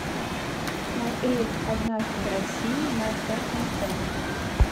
смотреть однажды в россии на тнт